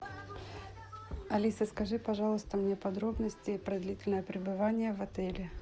алиса скажи пожалуйста мне подробности про длительное пребывание в отеле